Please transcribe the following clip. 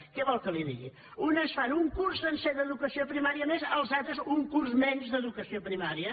què vol que li digui unes fan un curs sencer d’educació primària més les altres un curs menys d’educació primària